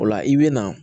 O la i bɛ na